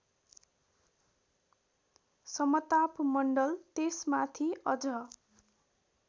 समतापमण्डल त्यसमाथि अझ